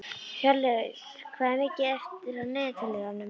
Hjörleif, hvað er mikið eftir af niðurteljaranum?